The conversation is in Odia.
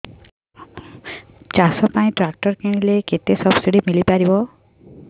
ଚାଷ ପାଇଁ ଟ୍ରାକ୍ଟର କିଣିଲେ କେତେ ସବ୍ସିଡି ମିଳିପାରିବ